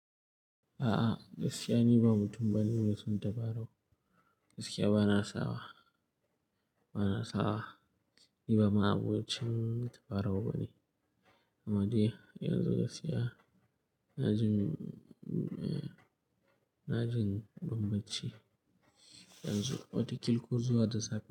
A'a, gaskiya ni ba mutum bane me son ta faro. Gaskiya ba na sawa, ba na sawa ni ba ma abokin tabarau bane. Amma dai yanzu gaskiya na jin, na jin banbanci wataƙil ko zuwa da safe.